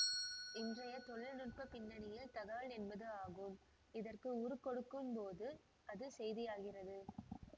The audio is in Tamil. இன்றைய தொழில்நுட்ப பின்னணியில் தகவல் என்பது ஆகும் இதற்கு உருக்கொடுக்கும்போது அது செய்தியாகிறது